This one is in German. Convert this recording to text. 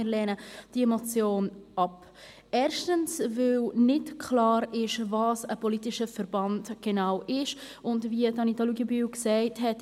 Wir lehnen diese Motion ab, erstens, weil nicht klar ist, was ein politischer Verband genau ist, und zweitens, wie Anita Luginbühl gesagt hat: